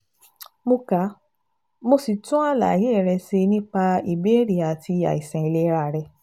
Mo ka, mo sì tún àlàyé rẹ ṣe nípa ìbéèrè àti àìsàn ìlera rẹ